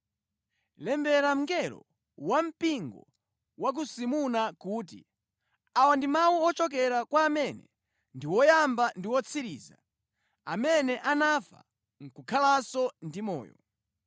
“Lembera mngelo wa mpingo wa ku Simurna kuti: Awa ndi mawu ochokera kwa amene ndi Woyamba ndi Wotsiriza, amene anafa nʼkukhalanso ndi moyo.